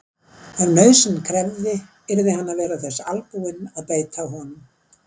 Ef nauðsyn krefði yrði hann að vera þess albúinn að beita honum.